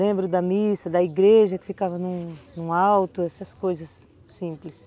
Lembro da missa, da igreja que ficava num alto, essas coisas simples.